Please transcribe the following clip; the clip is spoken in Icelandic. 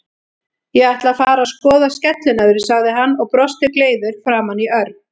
Ég ætla að fara að skoða skellinöðru, sagði hann og brosti gleiður framan í Örn.